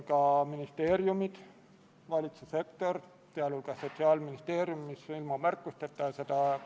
Hääletustulemused Poolt hääletas 64 Riigikogu liiget, vastuolijaid ja erapooletuid ei olnud.